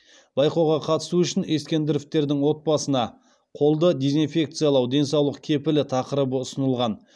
байқауға қатысу үшін ескендіровтердің отбасына қолды дезнфекциялау денсаулық кепілі тақырыбы ұсынылған